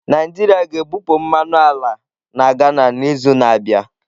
Naijiria ga-ebupụ mmanụ ala na Ghana n'izu na-abịa.